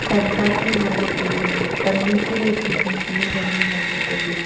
pansa chu ngan ley tai ley pannu chu wai hing hing ka jawnu ngan ley tai ley.